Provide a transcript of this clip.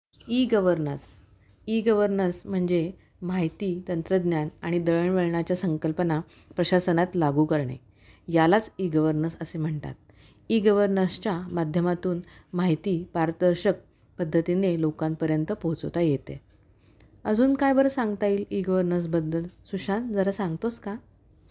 E -governance: e governance म्हणजे माहिती, तंत्रज्ञान आणि दळणवळणाच्या संकल्पना प्रशासनात लागू करणे. यालाच ई-गव्हर्नन्स असे म्हणतात. ई - गव्हर्नन्स च्या माध्यमातून माहिती पारदर्शक पद्धतीने लोकांपर्यंत पोहोचवता येते. अजून काय बरं सांगता येईल ई -गव्हर्नन्स बद्दल? सुशांत जरा सांगतोस का?